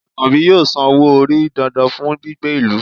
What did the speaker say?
Akanbi yóò sán ọwọ́-orí dándán fún gbígbé ilù